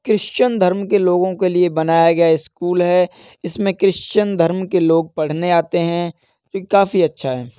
Christian धर्म के लोगों के लिए बनाया गया स्कूल है। इसमें क्रिश्चियन धर्म के लोग पढ़ने आते हैं। ये काफी अच्छा है।